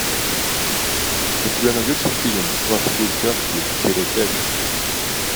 у тебя найдется фильм во все тяжкие серия пять